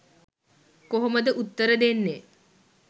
කොහොමද උත්තර දෙන්නේ